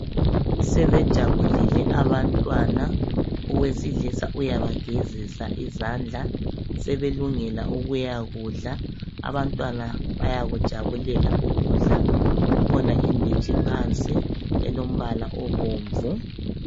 Sebejabulile abantwana owesilisa uyabagezisa izandla sebelungela ukuya kudla. Abantwana bayakujabulela ukudla kukhona inditshi phansi elombala obomvu.